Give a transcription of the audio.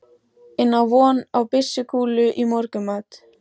inn á von á byssukúlu í morgunmat.